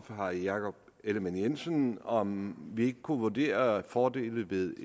herre jakob ellemann jensen om vi ikke kunne vurdere fordelene ved